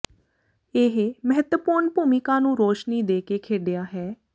ਇਹ ਮਹੱਤਵਪੂਰਨ ਭੂਮਿਕਾ ਨੂੰ ਰੌਸ਼ਨੀ ਦੇ ਕੇ ਖੇਡਿਆ ਹੈ